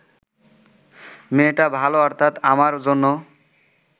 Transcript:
মেয়েটা ভাল অর্থাৎ আমার জন্য